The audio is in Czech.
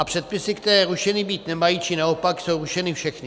A předpisy, které rušeny být nemají, či naopak, jsou rušeny všechny.